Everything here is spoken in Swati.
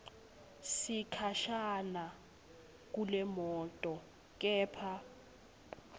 sikhashana kulemoto kepha